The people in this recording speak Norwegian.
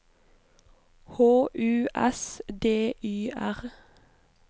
H U S D Y R